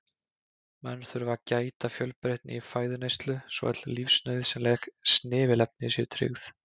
Menn þurfa að gæta fjölbreytni í fæðuneyslu svo öll lífsnauðsynleg snefilefni séu tryggð.